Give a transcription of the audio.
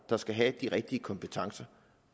der skal have de rigtige kompetencer